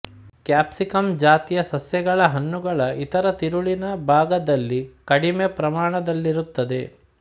capsicum ಜಾತಿಯ ಸಸ್ಯಗಳ ಹಣ್ಣುಗಳ ಇತರ ತಿರುಳಿನ ಭಾಗದಲ್ಲಿ ಕಡಿಮೆ ಪ್ರಮಾಣದಲ್ಲಿರುತ್ತದೆ